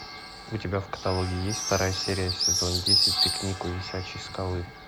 у тебя в каталоге есть вторая серия сезон десять пикник у висячей скалы